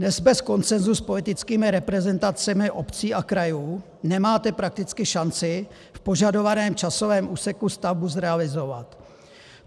Dnes bez konsensu s politickými reprezentacemi obcí a krajů nemáte prakticky šanci v požadovaném časovém úseku stavbu zrealizovat.